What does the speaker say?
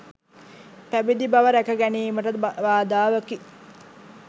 පැවිදි බව රැක ගැනීමටද බාධාවකි.